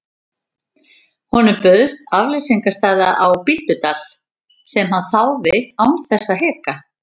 Honum bauðst afleysingarstaða á Bíldudal sem hann þáði án þess að hika.